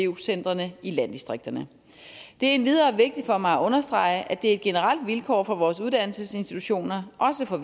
vu centrene i landdistrikterne det er endvidere vigtigt for mig at understrege at det er et generelt vilkår for vores uddannelsesinstitutioner også for